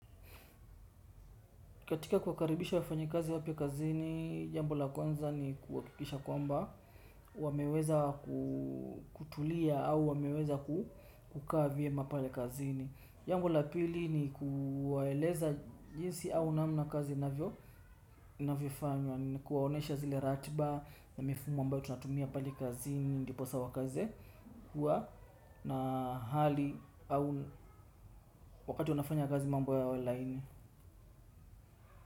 Katika kuwakaribisha wafanyi kazi wapya kazini jambo la kwanza kuhakikisha kwamba wameweza kutulia au wameweza kukaa vyema pale kazini. Jambo la pili ni kuwaeleza jinsi au namna kazi navio navyo fanywa. Na kuwaonesha zile ratiba na mifumo ambayo tunatumia pale kazini ndiposa wakaeze kuwa na hali au wakati wanafanya kazi mambo yawe laini.